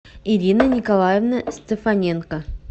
ирина николаевна стефаненко